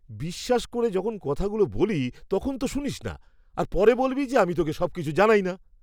বিশ্বাস করে যখন কথাগুলো বলি তখন তো শুনিস না, আর পরে বলবি যে আমি তোকে সবকিছু জানাই না।